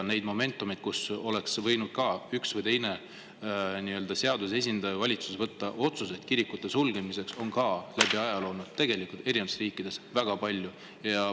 Neid momentumeid, kus üks või teine seaduse esindaja või valitsus oleks võinud vastu võtta otsuse kirikud sulgeda, on läbi ajaloo olnud eri riikides väga palju.